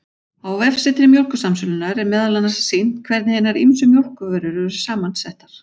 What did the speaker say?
Á vefsetri Mjólkursamsölunnar, er meðal annars sýnt hvernig hinar ýmsu mjólkurvörur eru saman settar.